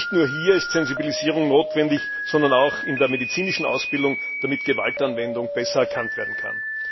Und nicht nur hier ist Sensibilisierung notwendig, sondern auch in der medizinischen Ausbildung, damit Gewaltanwendung besser erkannt werden kann.